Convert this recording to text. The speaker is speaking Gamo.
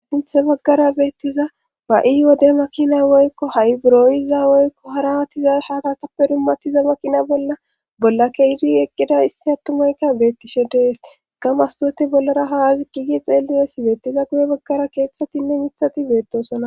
Asinthe baggara beettiza ba7i wodde makina woykko ha7i buroyiza woykko harahatiza hatatappe dummatiza makina bolla bolla keidi eqqida issi attumayka beettishe dees gamastote bollara hazi gigi xeellidessi beettiza guye baggara keeththatinne mithati beettosona.